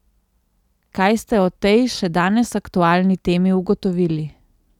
Kaj ste o tej, še danes aktualni temi ugotovili?